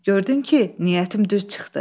Gördün ki, niyyətim düz çıxdı.